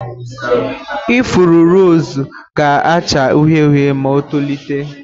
Ifuru rọzụ ga acha uhie uhie ma ọ tolite.